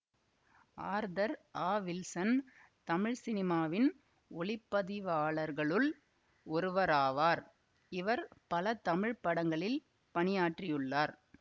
Arthur A Wilson Tamil சினிமாவின் ஒளிப்பதிவாளர்களுள் ஒருவராவார் இவர் பல தமிழ் படங்களில் பணியாற்றியுள்ளார்